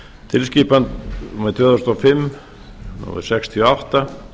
tilskipun tvö þúsund og fimm sextíu og átta